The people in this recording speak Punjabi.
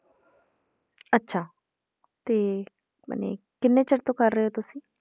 ਅੱਛਾ ਤੇ ਮਨੇ ਕਿੰਨੇ ਚਿਰ ਤੋਂ ਕਰ ਰਹੇ ਹੋ ਤੁਸੀਂ?